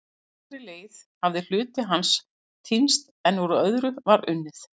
Á langri leið hafði hluti hans týnst en úr öðru var unnið.